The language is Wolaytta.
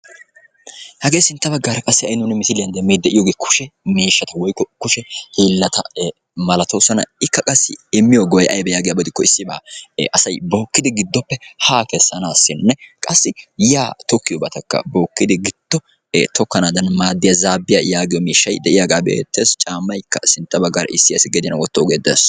Hagee sintta baggaara qassi nuun misiliyan demmiyddi de'iyogee kushe miishshata woykko kushe hiillata malatoosona. Ikka qassi immiyo go''ay aybee yaagiyaba gidikko issibaa asay bookkidi kessiyo haa kessanaassinne qassi yaa tokkiyobatakka bookkidi giddo tokkanaadan maaddiya zaabbiya yaagiyo miishshay de'iyagaa be'ettees. Caammaykka qa sintta baggaara issi asi gediyan wottoogee dees.